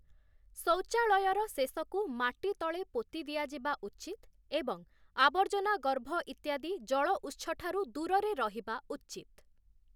ଶୌଚାଳୟର ଶେଷକୁ ମାଟିତଳେ ପୋତି ଦିଆଯିବା ଉଚିତ୍ ଏବଂ ଆବର୍ଜନା ଗର୍ଭ ଇତ୍ୟାଦି ଜଳ ଉତ୍ସଠାରୁ ଦୂରେରେ ରହିବା ଉଚିତ୍ ।